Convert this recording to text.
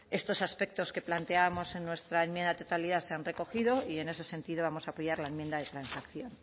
estos aspectos que planteábamos en nuestra enmienda a la totalidad se han recogido y en ese sentido vamos a apoyar la enmienda de transacción